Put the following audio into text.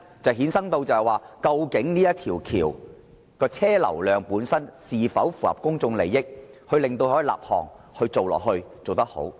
第一，港珠澳大橋的車流量必須符合公眾利益，才可立項並予繼續推行。